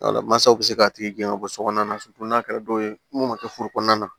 Wala masaw bɛ se k'a tigi gɛn ka bɔ sokɔnɔna na n'a kɛra dɔw ye mun be kɛ furu kɔnɔna na